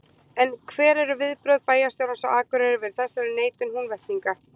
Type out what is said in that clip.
En hver eru viðbrögð bæjarstjórans á Akureyri við þessari neitun Húnvetninga?